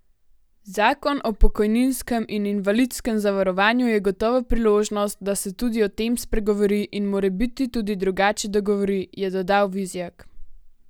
Zakon o pokojninskem in invalidskem zavarovanju je gotovo priložnost, da se tudi o tem spregovori in morebiti tudi drugače dogovori, je dodal Vizjak.